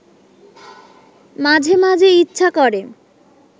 মাঝে মাঝে ইচ্ছা করে